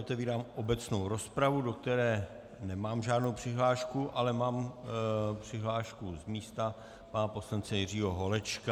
Otevírám obecnou rozpravu, do které nemám žádnou přihlášku, ale mám přihlášku z místa, pana poslance Jiřího Holečka.